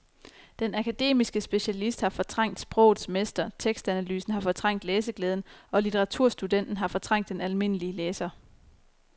Den akademiske specialist har fortrængt sprogets mester, tekstanalysen har fortrængt læseglæden og litteraturstudenten har fortrængt den almindelige læser.